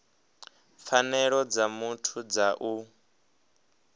pfanelo dza muthu dza u